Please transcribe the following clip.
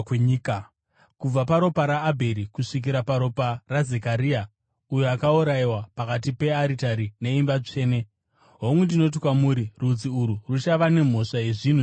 kubva paropa raAbheri kusvikira kuropa raZekaria, uyo akaurayiwa pakati pearitari neimba tsvene. Hongu, ndinoti kwamuri, rudzi urwu ruchava nemhosva yezvinhu izvi zvose.